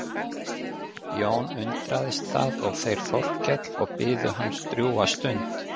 Jón undraðist það og þeir Þórkell og biðu hans drjúga stund.